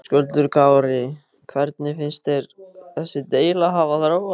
Höskuldur Kári: Hvernig finnst þér þessi deila hafa þróast?